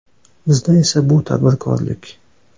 Bizda esa bu tadbirkorlik.